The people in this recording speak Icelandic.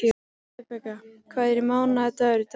Rebekka, hvaða mánaðardagur er í dag?